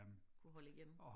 Kunne holde igen